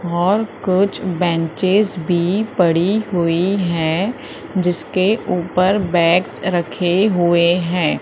और कुछ बेंचेज भी पड़ी हुई है जिसके ऊपर बैग्स रखे हुए है।